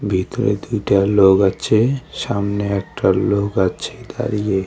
ভেতরে দুইটা লোক আছে সামনে একটা লোক আছে দাঁড়িয়ে।